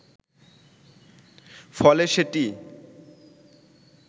ফলে সেটি